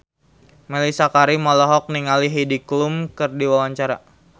Mellisa Karim olohok ningali Heidi Klum keur diwawancara